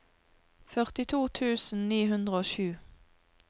førtito tusen ni hundre og sju